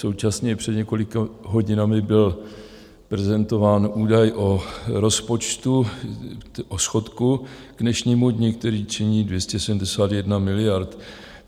Současně před několika hodinami byl prezentován údaj o rozpočtu, o schodku k dnešnímu dni, který činí 271 miliard.